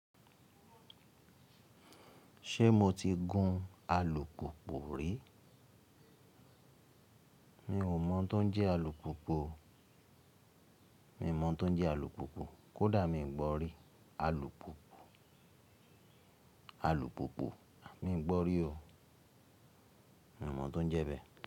Ṣé mo ti gun alùpùpù rí? Mi ò mọ̀ tó ń jẹ́ alùpùpù, mi ò mọ̀ tó ń jẹ́ alùpùpù. Kódà mi ò gbọ́ rí alùpùpù, alùpùpù mi gbọ́ rí o. Mi ò mọ̀ tó ń jẹ bẹ́ẹ̀